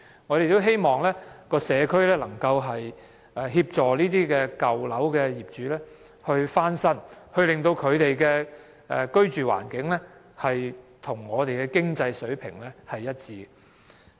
我們也希望社區能協助這些舊樓業主翻新樓宇，令他們的居住環境與我們的經濟水平一致。